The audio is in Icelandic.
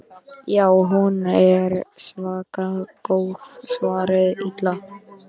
Já, hún er svaka góð svaraði Lilla.